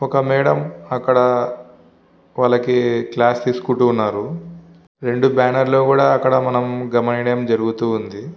ఒక మేడం అక్కడ వాళ్ళకి క్లాస్ తీసుకుంటూ ఉన్నారు. రెండు బ్యానర్ లు కూడా అక్కడ మనం గమనీయడం జరుగుతు ఉంది.